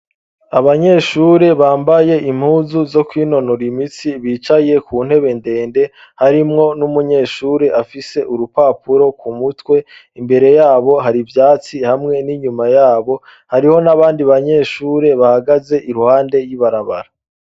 Abanyeshure bambaye impuzu zo kwinonora imitsi ,bicaye ku ntebe ndende harimwo n'umunyeshuri afise urupapuro ku mutwe, imbere yabo hari ivyatsi ,hamwe n'inyuma yabo hariho n'abandi banyeshure bahagaze iruhande y'ibarabara.